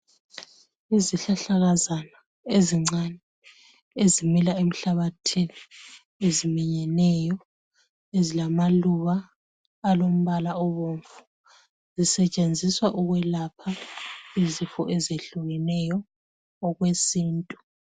Izihlahlakazana ezincane, ezimila emhlabathini. Eziminyeneyo. Ezilamaluba alombala obomvu. Zisetshendiswa ukwelapha uzifo ezehlukrneyo, okwesintu.